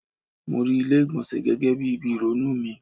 Mo rí ilé ìgbọ̀nsẹ̀ gẹ́gẹ́ bí ibi ìrònú mi.